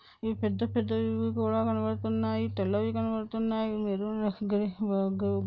ఇవి పెద్దపెద్దవి కూడా కనబడుతున్నాయి తెల్లవి కనబడుతున్నాయి---